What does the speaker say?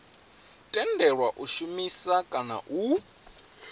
tendelwa u shumisa kana u